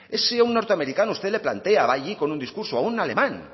es que si a un norteamericano usted le plantea va allí con un discurso o a un alemán